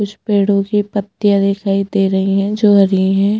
कुछ पेड़ो की पत्तिया दिखाई दे रही है जो हरी है।